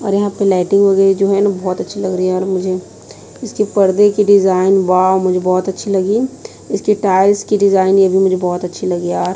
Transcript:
और यहाँ पे लाइटिंग वगैरह जो है न बहोत अच्छी लग रही है यार मुझे इसके पर्दे की डिजाइन वाव मुझे बहोत अच्छी लगी इसके टाइल्स की डिजाइन ये भी मुझे बहोत अच्छी लगी यार --